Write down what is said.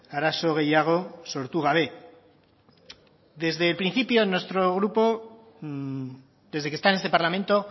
arazo gehiago sortu gabe desde el principio nuestro grupo desde que está en este parlamento